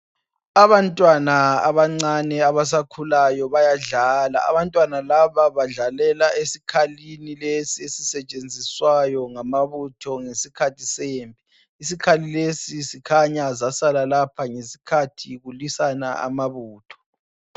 Abantwana abancane abasakulayo bayadlala abantwana laba badlalela esikhalini lesi esisetshenziswayo ngamabutho ngesikhathi eyimpi isikhali lesi sikhanya zasala lapha ngesikhathi kulisana amabutho